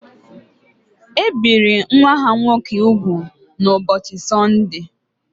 E biri nwa ha nwoke úgwù n’ụbọchị Sọndee